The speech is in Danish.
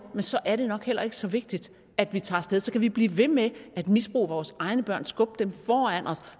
så er det nok heller ikke så vigtigt at vi tager sted så kan vi blive ved med at misbruge vores egne børn skubbe dem foran os